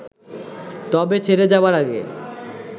তবে ছেড়ে যাবার আগে